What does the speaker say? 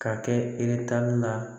Ka kɛ la